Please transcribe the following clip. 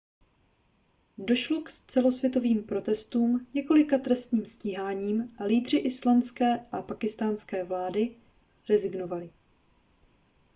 došlo k celosvětovým protestům několika trestním stíháním a lídři islandské a pákistánské vlády rezignovali